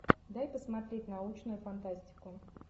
дай посмотреть научную фантастику